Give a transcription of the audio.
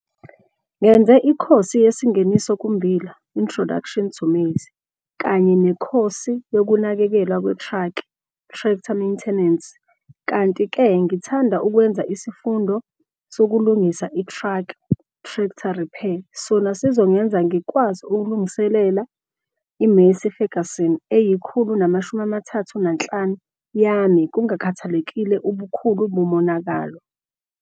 Ngenze ikhosi yeSingeniso kuMmbila, Introduction to Maize, kanye nekhosi yokuNakekelwa kweTraki, Tractor Maintenance, kanti-ke ngingathanda ukwenza isifundo sokuLungisa iTraki, Tractor Repair, sona sizongenza ngikwazi ukuzilungisela iMassey Ferguson 135 yami kungakhathalekile ubukhulu bomonakalo.